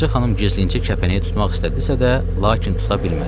Ağaca xanım gizlincə kəpənəyi tutmaq istədisə də, lakin tuta bilmədi.